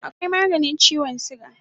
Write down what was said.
Akwai maganin chiwon suga